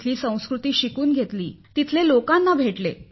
तेथील संस्कृती शिकून घेतली तेथील लोकांना भेटले